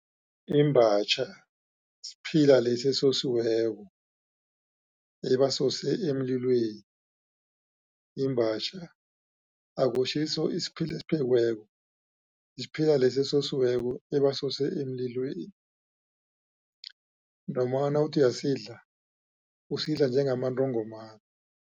Imbatjha siphila lesi ebasosileko, ebasose emlilweni. Imbatjha akusiso isiphila esiphekiweko, isiphila lesi esosiweko ebasose emlilweni. Noma nawuthi uyasidla, usidla njengamantongomani.